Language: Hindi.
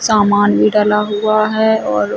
समान भी डला हुआ है और--